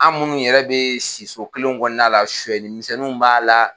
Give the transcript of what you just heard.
An munnu yɛrɛ bɛ siso kelenw kɔnɔna la sisɛsi misɛnninw b'a la.